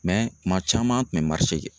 kuma caman an tun bɛ kɛ.